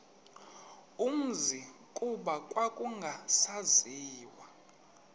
umzi kuba kwakungasaziwa